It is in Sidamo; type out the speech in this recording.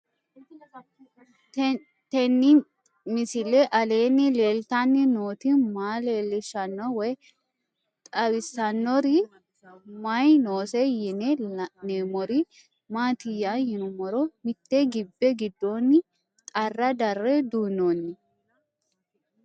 Tenni misile aleenni leelittanni nootti maa leelishshanno woy xawisannori may noosse yinne la'neemmori maattiya yinummoro mitte gibbe giddonni xaara darre duunoonni